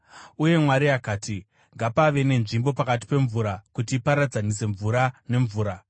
Uye Mwari akati, “Ngapave nenzvimbo pakati pemvura kuti iparadzanise mvura nemvura.”